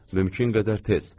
Mümkün qədər tez.